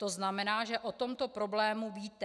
To znamená, že o tomto problému víte.